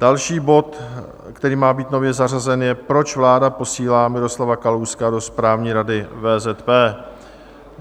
Další bod, který má být nově zařazen, je Proč vláda posílá Miroslava Kalouska do Správní rady VZP?